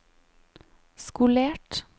skolert